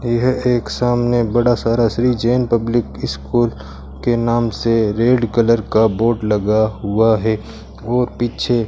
यह एक सामने बड़ा सारा श्री जैन पब्लिक स्कूल के नाम से रेड कलर का बोर्ड लगा हुआ है और पीछे--